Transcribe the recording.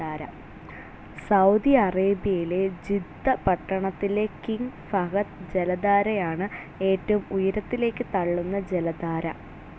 Saudi അറേബ്യയിലെ Jeddah പട്ടണത്തിലെ King Fahd ജലധാരയാണ് ഏറ്റവും ഉയരത്തിലേക്ക് തള്ളുന്ന ജലധാര.